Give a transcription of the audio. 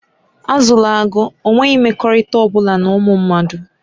Azụla agụ, ọ nweghị mmekọrịta ọ bụla na ụmụ mmadụ!